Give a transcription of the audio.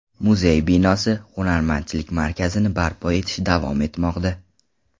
Muzey binosi, Hunarmandchilik markazini barpo etish davom etmoqda.